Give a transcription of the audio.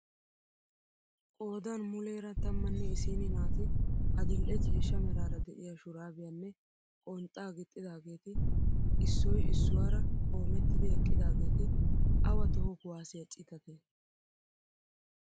Qoodan muleera tammanne issini naati adil'e ciishsha meraara de'iyaa shuraabiyaanne qonxxaa gixxidaageti issoy issuwaara qomettidi eqqidaageti awa toho kuwaasiyaa citatee?